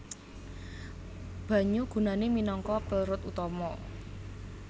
Banyu gunane minangka pelrut utama